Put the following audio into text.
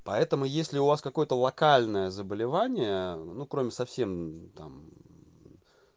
поэтому если у вас какой-то локальное заболевание ну кроме совсем там